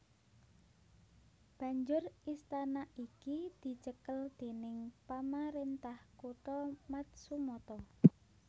Banjur istana iki dicekel déning pamarentah kutha Matsumoto